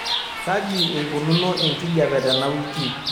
kaji eikununo enkijiape tenawiki